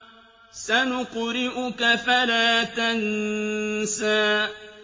سَنُقْرِئُكَ فَلَا تَنسَىٰ